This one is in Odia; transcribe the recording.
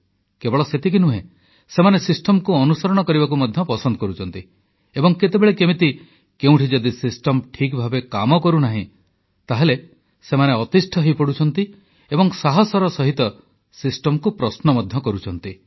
କେବଳ ସେତିକି ନୁହେଁ ସେମାନେ ସିଷ୍ଟମ ଅନୁସରଣ କରିବାକୁ ମଧ୍ୟ ପସନ୍ଦ କରୁଛନ୍ତି ଏବଂ କେତେବେଳେ କେମିତି କେଉଁଠି ଯଦି ସିଷ୍ଟମ ଠିକ୍ ଭାବେ କାମ କରୁନାହିଁ ତାହେଲେ ସେମାନେ ଅତିଷ୍ଠ ହୋଇପଡ଼ୁଛନ୍ତି ଏବଂ ସାହସର ସହିତ ସିଷ୍ଟମ ପ୍ରଶ୍ନ ମଧ୍ୟ କରୁଛନ୍ତି